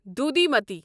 دودھیمتی